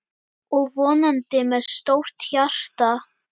Og vonandi með stórt hjarta.